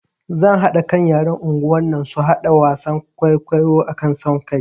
Zan haɗa kan yaran unguwar nan su haɗa wasan kwaikwayo akan son kai